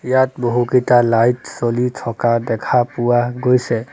ইয়াত বহুকেইটা লাইট জ্বলি থকা দেখা পোৱা গৈছে।